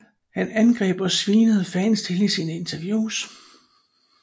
Han angreb og svinede fans til i sine interviews